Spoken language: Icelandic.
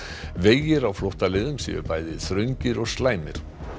vegir á flóttaleiðum séu bæði þröngir og slæmir